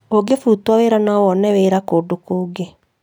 ũngĩbutwo wĩra no wone wĩra kũndũ kũngĩ